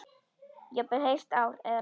Jafnvel heilt ár eða lengur.